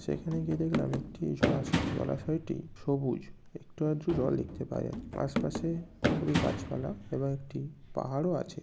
সেখানে গিয়ে দেখলাম একটি জলাশয়। জলাশয়টি সবুজ। একটু আধটু জল দেখতে পাওয়া যায়। আশপাশে খুবই গাছপালা এবং একটি পাহাড়ও আছে।